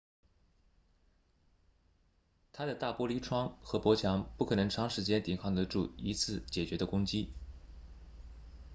它的大玻璃窗和薄墙不可能长时间抵抗得住一次坚决的攻击